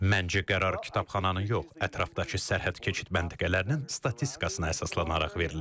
Məncə qərar kitabxananın yox, ətrafdakı sərhəd keçid məntəqələrinin statistikasına əsaslanaraq verilib.